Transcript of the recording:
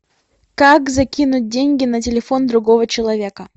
как закинуть деньги на телефон другого человека